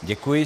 Děkuji.